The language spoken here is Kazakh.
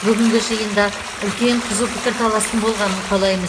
бүгінгі жиында үлкен қызу пікірталастың болғанын қалаймыз